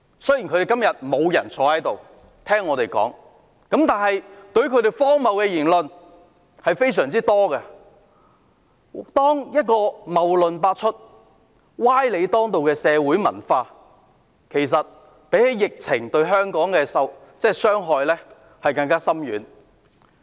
雖然今天他們沒有人在席聽我們發言，但他們的荒謬言論非常多，謬論百出、歪理當道的文化比疫情對香港的傷害更深遠。